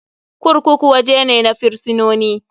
Kurkuku waje ne na firisinoni.